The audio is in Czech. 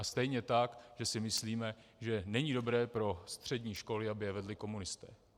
A stejně tak, že si myslíme, že není dobré pro střední školy, aby je vedli komunisté.